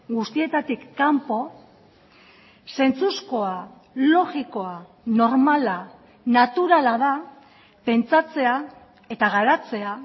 guztietatik kanpo zentzuzkoa logikoa normala naturala da pentsatzea eta garatzea